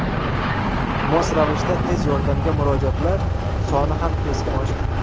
Mos ravishda tez yordamga murojaatlar soni ham keskin oshdi.